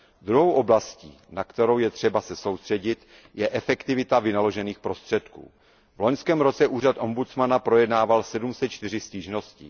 Druhou oblastí, na kterou je třeba se soustředit, je efektivita vynaložených prostředků. V loňském roce úřad ombudsmana projednával 704 stížností.